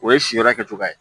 O ye si yɔrɔ kɛcogo ye